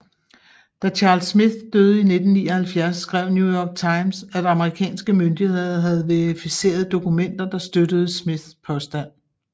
Da Charles Smith døde i 1979 skrev New York Times at amerikanske myndigheder havde verificeret dokumenter der støttede Smiths påstand